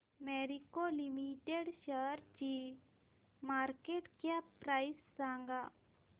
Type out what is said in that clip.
Marico limited शेअरची market cap price सांगा